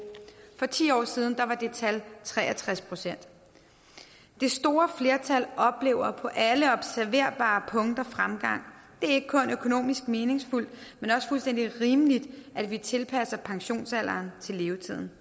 for ti år siden var det tal tre og tres procent det store flertal oplever på alle observerbare punkter fremgang det er ikke kun økonomisk meningsfuldt men også fuldstændig rimeligt at vi tilpasser pensionsalderen til levetiden